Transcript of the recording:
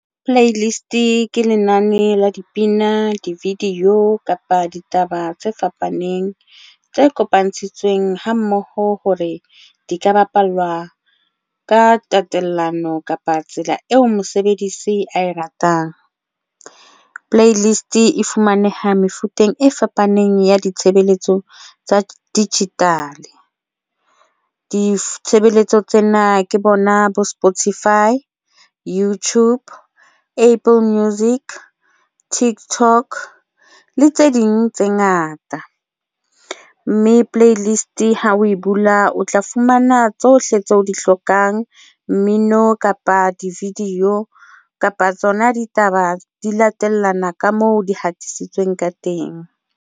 Play list ke lenane la dipina di-video kapa ditaba tse fapaneng tse kopantshitsweng, ha mmoho hore di ka bapalwa ka tatellano kapa tsela eo mosebedisi ae ratang. Play list e fumaneha mefuteng e fapaneng ya ditshebeletso tsa digital. Ditshebeletso tsena ke bona bo Spotify, YouTube, Apple Music, TikTok le tse ding tse ngata mme playlist ha o e bula, o tla fumana tsohle tseo o di hlokang mmino kapa di-video kapa tsona ditaba di latellana ka moo di hatisitsweng ka teng.